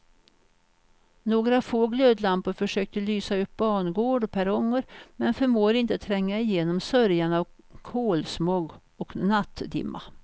Några få glödlampor försöker lysa upp bangård och perronger men förmår inte tränga igenom sörjan av kolsmog och nattdimma.